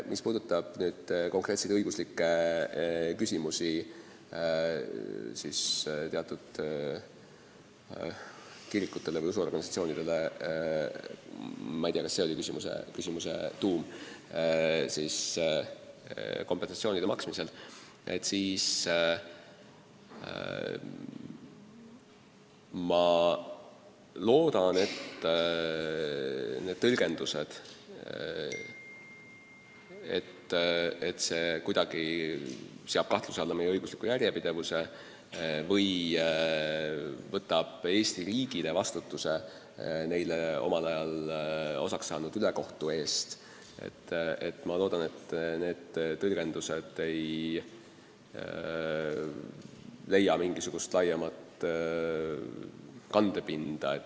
Mis puudutab konkreetseid õiguslikke küsimusi teatud kirikutele või usuorganisatsioonidele – ma ei tea, kas see oli küsimuse tuum – kompensatsiooni maksmisel, siis ma loodan, et tõlgendus, et see seab kuidagi kahtluse alla meie õigusliku järjepidevuse või paneb Eesti riigile vastutuse neile omal ajal osaks saanud ülekohtu eest, ei leia laiemat kandepinda.